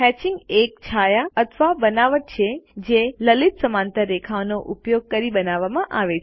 hatching એક છાયા અથવા બનાવટ છે જે લલિત સમાંતર રેખાઓનો ઉપયોગ કરી બનાવવામાં આવે છે